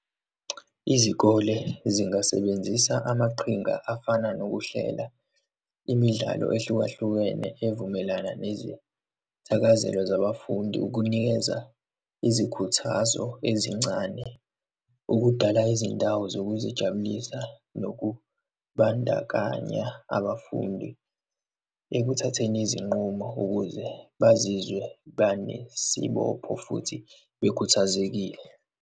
Izikole zingasebenzisa amaqhinga afana nokuhlela imidlalo ehlukahlukene evumelana nezithakazelo zabafundi ukunikeza izikhuthazo ezincane, ukudala izindawo zokuzijabulisa nokubandakanya abafundi ekuthatheni izinqumo ukuze bazizwe banesibopho futhi bekhuthazekile.